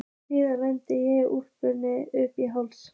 Síðan renni ég úlpunni upp í háls.